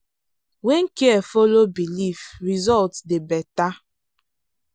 when care follow belief result dey better.